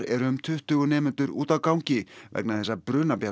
eru um tuttugu nemendur úti á gangi vegna þess að